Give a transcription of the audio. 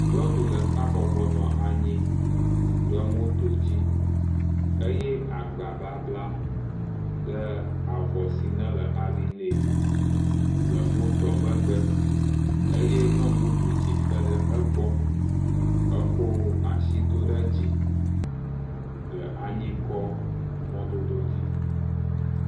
Nyɔnu ɖeka bɔbɔ nɔ anyi ɖe moto dzi eye agba babla ɖe avɔ si nele ali nɛ le motoa megbe eye nyɔnu bubu tsitre ɖe egbɔ eko asi do ɖe dzi le anyikɔ mɔdodo dzi.